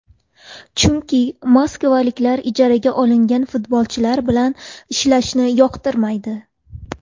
Chunki moskvaliklar ijaraga olingan futbolchilar bilan ishlashni yoqtirmaydi.